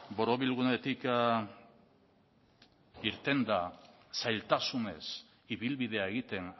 borobilgunetik irtenda zailtasunez ibilbidea egiten